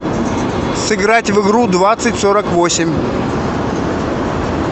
сыграть в игру двадцать сорок восемь